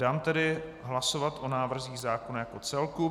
Dám tedy hlasovat o návrzích zákona jako celku.